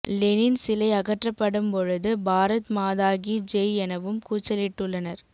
Lenin சிலை அகற்றப்படும் பொழுது பாரத் மாதா கீ ஜெய் எனவும் கூச்சலிட்டுள்ளனர்